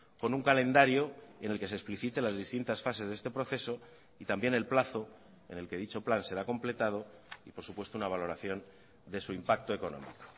con un calendario en el que se explicite las distintas fases de este proceso y también el plazo en el que dicho plan será completado y por supuesto una valoración de su impacto económico